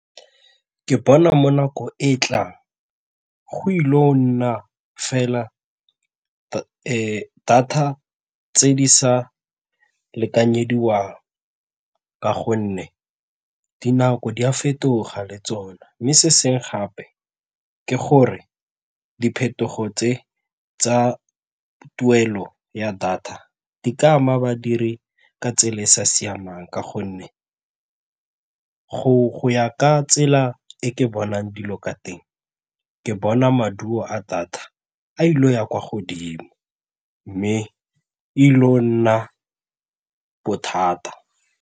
Ke bona mo nako e tlang go ile go nna fela data tse di sa lekanyediwang ka gonne dinako di a fetoga le tsona mme se sengwe gape ke gore diphetogo tse tsa tuelo ya data di ka ama badiri ka tsela e e sa siamang ka gonne go ya ka tsela e ke bonang dilo ka teng ke bona maduo a thata a ile go ya kwa godimo mme e ile go nna bothata.